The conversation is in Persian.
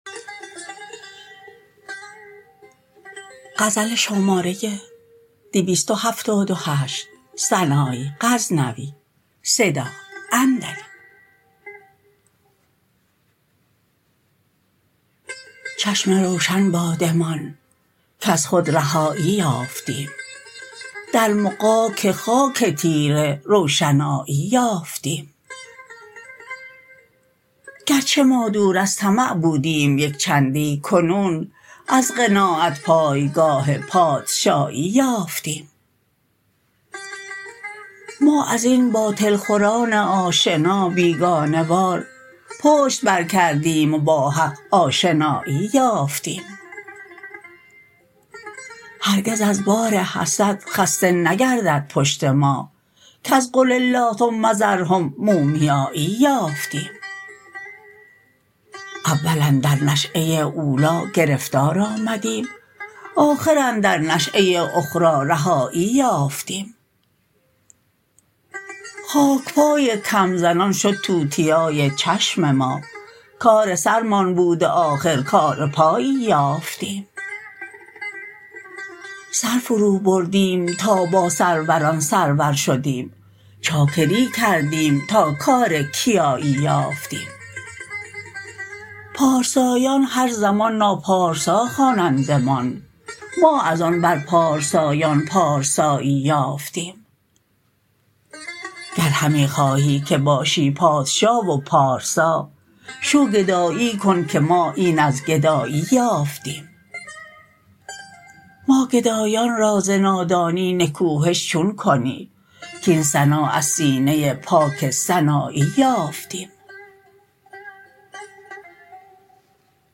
چشم روشن بادمان کز خود رهایی یافتیم در مغاک خاک تیره روشنایی یافتیم گرچه ما دور از طمع بودیم یک چندی کنون از قناعت پایگاه پادشایی یافتیم ما ازین باطل خوران آشنا بیگانه وار پشت بر کردیم و با حق آشنایی یافتیم هرگز از بار حسد خسته نگردد پشت ما کز قل الله ثم ذرهم مومیایی یافتیم اول اندر نشه اولا گرفتار آمدیم آخر اندر نشه اخرا رهایی یافتیم خاکپای کمزنان شد توتیای چشم ما کار سرمان بود و آخر کار پایی یافتیم سر فرو بردیم تا بر سروران سرور شدیم چاکری کردیم تا کار کیایی یافتیم پارسایان هر زمان ناپارسا خوانندمان ما از آن بر پارسایان پارسایی یافتیم گر همی خواهی که باشی پادشا و پارسا شو گدایی کن که ما این از گدایی یافتیم ما گدایان را ز نادانی نکوهش چون کنی کاین سنا از سینه پاک سنایی یافتیم